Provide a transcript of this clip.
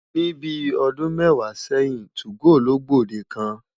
Ní bíi ọdún mẹ́wàá sẹ́yìn, 2go ló gbòde kàn.